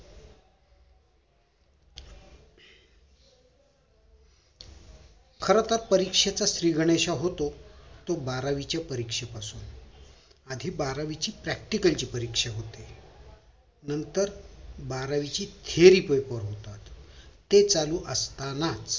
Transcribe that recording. खरोतर परीक्षेचा श्री गणेशा होतो तो बारावीच्या परीक्षे पासून आधी बारावीची practical ची परीक्षा होते नंतर बारावीची theory paper होतात ते चालू असतानाच